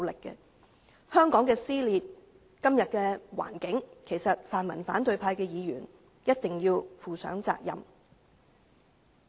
對於今天香港的撕裂情況，其實泛民反對派的議員一定要負上責任。